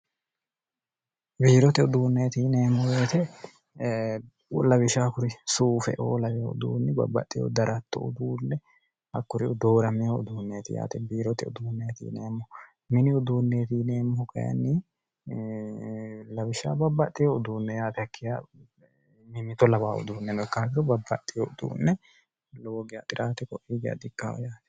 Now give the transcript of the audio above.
biirote uduunneeti ineemmo beete 2awisha kuri suufe oo lawe uduunni babbaxxeho daratto uduunne hakkuri udoora mee uduunneeti yaate biirote uduunneetiineemmo mini uduunneetiineemmo kyinni lawish babbaxeo uduunne yaatekkih mimito 2awa uduunne nokkakiro babbaxeho uduunne lowogiy xirate ko iige ad ikkaho yaate